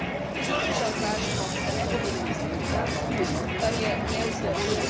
Tudi tu žal kažemo, da ne govorimo z enim glasom, kar je nevzdržno.